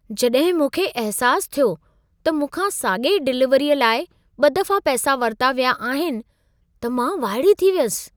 जॾहिं मूंखे अहिसासु थियो त मूंखा साॻिई डिलीवरीअ लाइ ॿ दफ़ा पैसा वरिता विया आहिनि, त मां वाइड़ी थी वियसि।